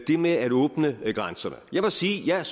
det med at åbne grænserne jeg må sige at jeg